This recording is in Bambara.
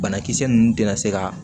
Banakisɛ ninnu tɛna se ka